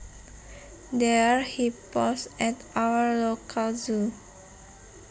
There are hippos at our local zoo